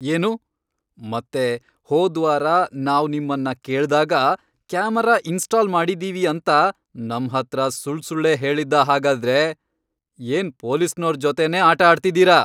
ಏನು?! ಮತ್ತೆ ಹೋದ್ವಾರ ನಾವ್ ನಿಮ್ಮನ್ನ ಕೇಳ್ದಾಗ ಕ್ಯಾಮೆರಾ ಇನ್ಸ್ಟಾಲ್ ಮಾಡಿದೀವಿ ಅಂತ ನಮ್ಹತ್ರ ಸುಳ್ಸುಳ್ಳೇ ಹೇಳಿದ್ದಾ ಹಾಗಾದ್ರೆ?! ಏನ್ ಪೊಲೀಸ್ನೋರ್ ಜೊತೆನೇ ಆಟ ಆಡ್ತಿದೀರ?!